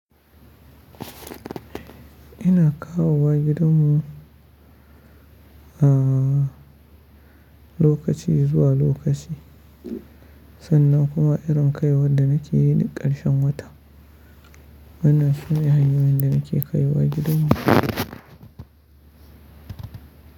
Ina kawo wa gidan mu a lokaci zuwa lokaci sannan kuma irin kaiwar da nake yi duk ƙarshen wata. Wanna shine hanyoyin da nake kaiwa gidan mu.